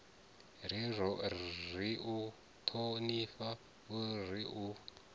ri u ṱhonifhe ri u